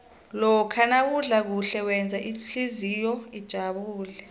lokha nawudla kuhle wenza ihlizwakho ijabule